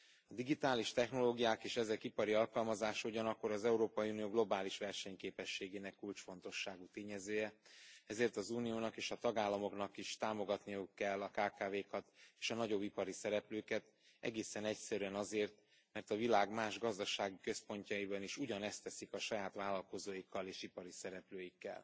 A digitális technológiák és ezek ipari alkalmazása ugyanakkor az Európai Unió globális versenyképességének kulcsfontosságú tényezője, ezért az Uniónak és a tagállamoknak is támogatniuk kell a kkv kat és a nagyobb ipari szereplőket, egészen egyszerűen azért, mert a világ más gazdasági központjaiban is ugyanezt teszik a saját vállalkozóikkal és ipari szereplőikkel.